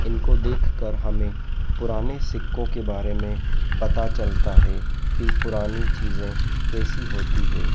इनको देख कर हमें पुराने सिक्कों के बारे में पता चलता है कि पुरानी चीजें कैसी होती हैं।